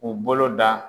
U bolo da